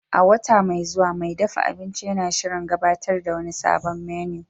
A wata mai zuwa, mai dafa abinci yana shirin gabatar da wani sabon menu